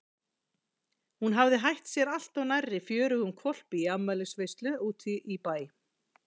Hún hafði hætt sér allt of nærri fjörugum hvolpi í afmælisveislu úti í bæ.